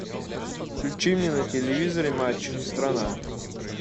включи мне на телевизоре матч страна